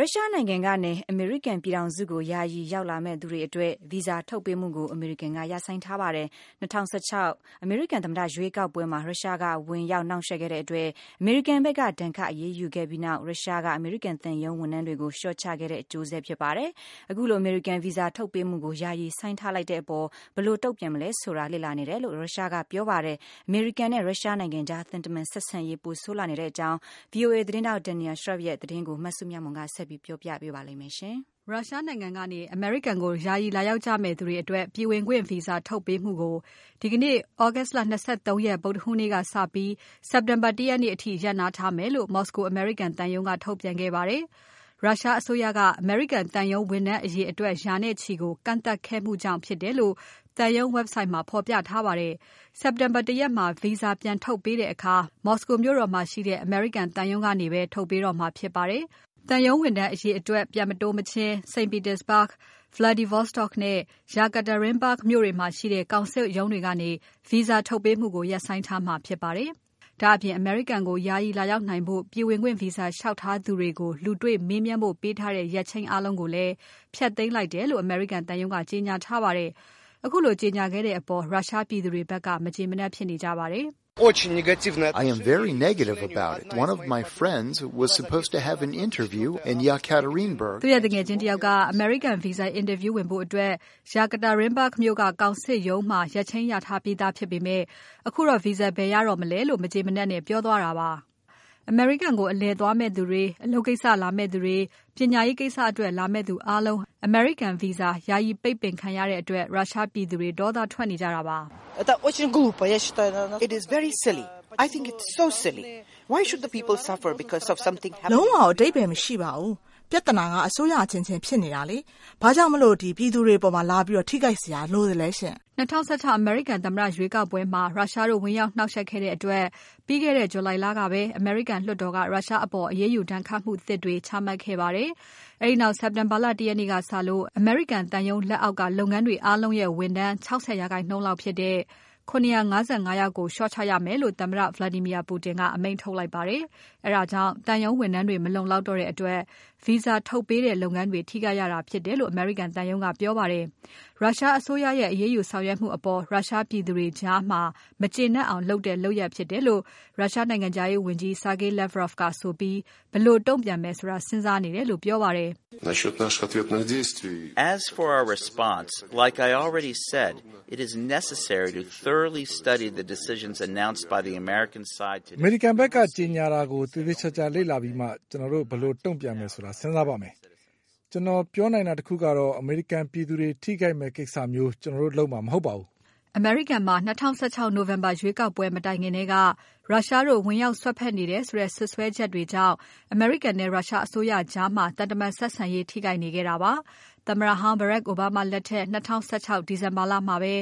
ရုရှားနိုင်ငံကနေ အမေရိကန် ပြည်ထောင်စုကို ယာယီလာရောက်မယ့်သူတွေ အတွက် ဗီဇာ ထုတ်ပေးမှုကို အမေရိကန်က ရပ်ဆိုင်းထားပါတယ်။ ၂၀၁၆ အမေရိကန်သမ္မတ ရွေးကောက်ပွဲမှာ ရုရှားက ဝင်ရောက် နှောင့်ယှက်ခဲ့တဲ့ အတွက် အမေရိကန်ဖက်က ဒဏ်ခတ် အရေးယူခဲ့ပြီးနောက် ရုရှားက အမေရိကန်သံရုံး ဝန်ထမ်းတွေကို လျှော့ချခဲ့တဲ့ အကျိုးဆက် ဖြစ်ပါတယ်။ ခုလို အမေရိကန် ဗီဇာ ထုတ်ပေးမှုကို ယာယီဆိုင်းထားလိုက်တဲ့ အပေါ် ဘယ်လိုတုံ့ပြန်ရမလဲ ဆိုတာ လေ့လာနေတယ်လို့ ရုရှားကဆိုပါတယ်။ အမေရိကန်နဲ့ ရုရှားနိုင်ငံကြား သံတမန်ဆက်ဆံရေး ပိုဆိုးလာနေတဲ့ အကြောင်း VOA သတင်းထောက် Daniel Schearf ရဲ့ သတင်းကို မစုမြတ်မွန်က ဆက်ပြီး တင်ပြပါမယ်။ ရုရှားနိုင်ငံကနေ အမေရိကန်ကို ယာယီလာရောက်ကြမယ့် သူတွေ အတွက် ပြည်ဝင်ခွင့် ဗီဇာထုတ်ပေးမှုကို ဒီကနေ့ သြဂုတ်လ ၂၃ ရက် ဗုဒ္ဓဟူးနေ့က စပြီး စက်တင်ဘာ ၁ ရက်နေ့အထိ ရပ်နားထားမယ်လို့ မော်စကို အမေရိကန်သံရုံးက ထုတ်ပြန်ခဲ့ပါတယ်။ ရုရှားအစိုးရက အမေရိကန်သံရုံး ဝန်ထမ်း အရေအတွက် ရာနဲ့ချီကို ကန့်သတ်ခဲ့မှုကြောင့် ဖြစ်တယ်လို့ သံရုံး Website မှာဖော်ပြထားပါတယ်။ စက်တင်ဘာ ၁ ရက်မှာ ဗီဇာပြန်ထုတ်ပေးတဲ့ အခါ မော်စကိုမြို့တော်မှာ ရှိတဲ့ သံရုံးကနေပဲ ထုတ်ပေးတော့မှာ ဖြစ်ပါတယ်။ သံရုံးဝန်ထမ်း အရေအတွက် ပြန်မတိုးမချင်း St. Petersburg၊ Vladivostok နဲ့ Yekaterinburg မြို့တွေမှာရှိတဲ့ ကောင်စစ်ရုံးတွေကနေ ဗီဇာထုတ်ပေးမှုကို ရပ်ဆိုင်းထားမှာပါ။ ဒါ့အပြင် အမေရိကန်ကို ယာယီလာရောက်နိုင်ဖို့ ပြည်ဝင်ခွင့် ဗီဇာ လျှောက်ထားသူကိုလူတေ့ွမေးမြန်းဖို့ ပေးထားတဲ့ ရက်ချိန်အားလုံးကိုလည်း ဖျက်သိမ်းလိုက်တယ်လို့ အမေရိကန်သံရုံးက ကြေညာထားပါတယ်။ ခုလို ကြေညာခဲ့တဲ့ အပေါ် ရုရှားပြည်သူတွေဖက်က မကျေမနပ် ဖြစ်နေကြပါတယ်။ “ တော်တော်မကျေနပ်ဘူးဗျ။ ကျွန်တော့် သူငယ်ချင်းတယောက်က အမေရိကန်ဗီဇာ အင်တာဗျူးဝင်ဖို့ Yekaterinburg ကောင်စစ်ရုံးမှာ ရက်ချိန်းရထားပြီးသား။ အခုတော့ သူဗီဇာ ဘယ်ရတော့မလဲ။” အမေရိကန်ကို အလည်ခရီး သွားမယ့်သူတွေ၊ အလုပ်ကိစ္စ လာမယ့်သူတွေ၊ ပညာရေး ကိစ္စအတွက် လာမယ့်သူ အားလုံး အမေရိကန်ဗီဇာ ယာယီ ပိတ်ပင်ခံထားရတဲ့ အတွက် ရုရှားပြည်သူတွေ ဒေါသ ထွက်နေကြတာပါ။ “ လုံးဝအဓိပ္ပါယ်မရှိပါဘူး။ ပြဿနာက အစိုးရအချင်းချင်း ဖြစ်နေတာ ဘာကြောင့် ပြည်သူတွေ အပေါ် လာပြီး ထိခိုက်စရာ လိုသလဲရှင့်။” ၂၀၁၆ အမေရိကန် သမ္မတ ရွေးကောက်ပွဲမှာ ရုရှားတို့ ဝင်ရောက် နှောင့်ယှက်ခဲ့တဲ့ အတွက် ပြီးခဲ့တဲ့ ဇူလိုင်လကပဲ အမေရိကန် လွှတ်တော်က ရုရှားအပေါ် အရေးယူ ဒဏ်ခတ်မှုသစ်တွေ ချမှတ်ခဲ့ပါတယ်။ အဲဒီနောက် စက်တင်ဘာလ ၁ ရက်နေ့ကစလို့ အမေရိကန်သံရုံး လက်အောက်က လုပ်ငန်းတွေ အားလုံးရဲ့ ဝန်ထမ်း ၆၀ ရာခိုင်နှုန်းလောက်ဖြစ်တဲ့ ၇၅၅ ယောက်ကို လျှော့ချရမယ်လို့ သမ္မတ Vladimir Putin က အမိန့်ထုတ်လိုက်ပါတယ်။ အဲဒါကြောင့် သံရုံးဝန်ထမ်းတွေ မလုံလောက်တဲ့ အတွက် Visa ထုတ်ပေးတဲ့ လုပ်ငန်းတွေ ထိခိုက်ရတာ ဖြစ်တယ်လို့ အမေရိကန်သံရုံးက ပြောပါတယ်။ ရုရှားအစိုးရရဲ့ အရေးယူ ဆောင်ရွက်မှု အပေါ် ရုရှားပြည်သူတွေကြား မကျေနပ်အောင် လုပ်တဲ့ လုပ်ရပ်ဖြစ်တယ်လို့ရုရှားနိုင်ငံခြားရေးဝန်ကြီး Sergey Lavrov ကဆိုပြီး ဘယ်လို တုံ့ပြန်မယ်ဆိုတာ စဉ်းစားနေတယ်လို့ ပြောပါတယ်။ “ အမေရိကန်ဖက်က ကြေညာတာကို သေသေချာချာ လေ့လာပြီးမှာ ကျွန်တော်တို့ ဘယ်လို တုံ့ပြန်မယ်ဆိုတာ စဉ်းစားပါမယ်။ ကျွန်တော်ပြောနိုင်တာ တခုကတော့ အမေရိကန်ပြည်သူတွေ ထိခိုက်မယ့် ကိစ္စမျိုး ကျွန်တော်တို့ လုပ်မှာ မဟုတ်ပါဘူး။” အမေရိကန်မှာ ၂၀၁၆ နိုဝင်ဘာလ ရွေးကောက်ပွဲ မတိုင်ခင်ထဲက ရုရှားတို့ ဝင်ရောက် စွက်ဖက်နေတယ် ဆိုတဲ့ စွပ်စွဲချက်တွေနဲ့ အမေရိကန်နဲ့ ရုရှားအစိုးရကြား သံတမန် ဆက်ဆံရေး ထိခိုက်နေခဲ့တာပါ။ သမ္မတဟောင်း Barack Obama လက်ထက် ၂၀၁၆ ဒီဇင်ဘာလမှာပဲ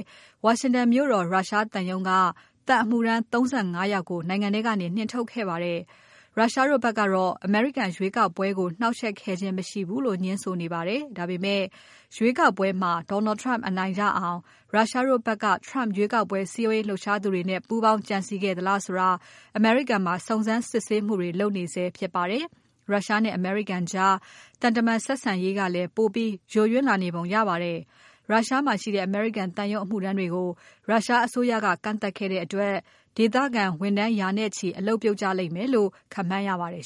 ဝါရှင်တန်မြို့တော် ရုရှားသံရုံးက သံအမှုထမ်း ၃၅ ယောက်ကို နိုင်ငံထဲကနေ နှင်ထုတ်ခဲ့ပါတယ်။ ရုရှားတို့ဖက်ကတော့ အမေရိကန် ရွေးကောက်ပွဲကို နှောင့်ယှက်ခဲ့ခြင်း မရှိဘူးလို့ ငြင်းဆိုနေပါတယ်။ ဒါပေမဲ့ ရွေးကောက်ပွဲမှာ Donald Trump အနိုင်ရအောင် ရုရှားတို့ဖက်က Trump ရွေးကောက်ပွဲ စည်းရုံးလှုပ်ရှားသူတွေနဲ့ ပူးပေါင်းကြံစည် ခဲ့သလားဆိုတာ အမေရိကန်မှာ စုံစမ်းစစ်ဆေးမှုတွေ လုပ်နေဆဲ ဖြစ်ပါတယ်။ ရုရှားနဲ့ အမေရိကန်ကြား သံတမန် ဆက်ဆံရေးကလည်း ပိုပြီး ယိုယွင်းလာနေပုံ ရပါတယ်။ ရုရှားမှာရှိတဲ့ အမေရိကန်သံရုံး အမှုထမ်းတွေကို ရုရှားအစိုးရက ကန့်သတ်ခဲ့တဲ့ အတွက် ဒေသခံဝန်ထမ်း ရာနဲ့ချီ အလုပ်ပြုတ်ကြ လိမ့်မယ်လို့ ခန့်မှန်းရပါတယ်